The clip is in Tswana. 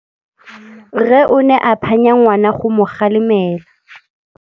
Rre o ne a phanya ngwana go mo galemela.